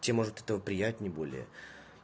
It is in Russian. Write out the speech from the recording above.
чем может от этого приятнее более